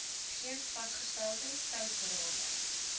geen vasgestelde tydsraamwerk